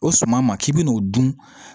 O suma ma k'i bi n'o dun